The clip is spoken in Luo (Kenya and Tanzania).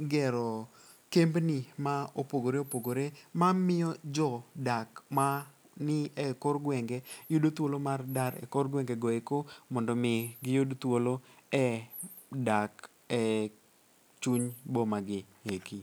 gero kembni ma opogore opogore mamiyo jodak mani e kor gwenge yudo thuolo mar dar e kor gwengego eko mondo omi giyud thuolo e dak e chuny bomagi eki.